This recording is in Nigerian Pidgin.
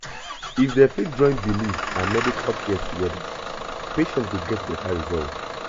if dem fit join belief and medical care together patient go get better result